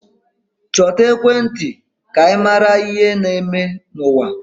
Chọta ekwentị ka ị mara ihe na-eme n'ụwa.